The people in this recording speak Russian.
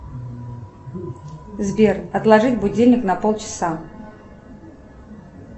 сбер отложить будильник на полчаса